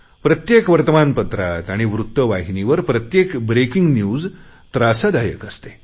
प्रत्येक वर्तमानपत्रात आणि वृत्त वाहिनीवर प्रत्येक ब्रेकिंग न्यूज त्रासदायक असते